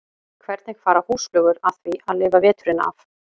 Hvernig fara húsflugur að því að lifa veturinn af?